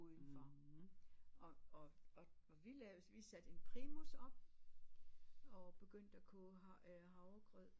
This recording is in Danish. Udenfor og og og vi lavede vi satte en primus op og begyndte at koge øh havre øh havregrød